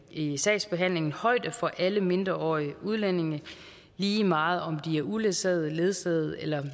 i sagsbehandlingen højde for alle mindreårige udlændinge lige meget om de er uledsaget ledsaget eller